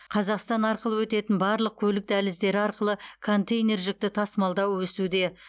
қазақстан арқылы өтетін барлық көлік дәліздері арқылы контейнер жүкті тасымалдау өсуде